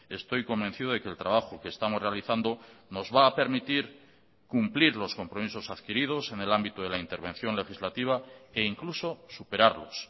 estoy convencido de que el trabajo que estamos realizando nos va a permitir cumplir los compromisos adquiridos en el ámbito de la intervención legislativa e incluso superarlos